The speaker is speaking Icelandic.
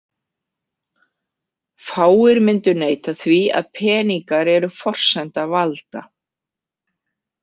Fáir myndu neita því að peningar eru forsenda valda.